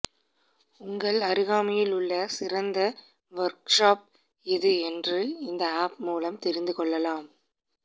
உங்கள் அருகாமையில் உள்ள சிறந்த வர்க்ஷாப் எது என்று இந்த ஆப் மூலம் தெரிந்து கொள்ளலாம்